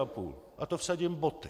Na to vsadím boty.